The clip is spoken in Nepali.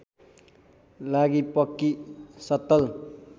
लागि पक्की सत्तल